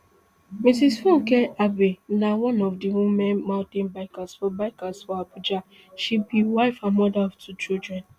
mrs funke abey na one of di women mountain bikers for bikers for abuja she be wife and mother of two children